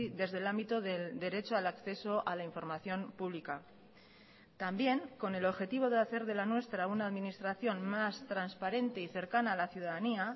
desde el ámbito del derecho al acceso a la información pública también con el objetivo de hacer de la nuestra una administración más transparente y cercana a la ciudadanía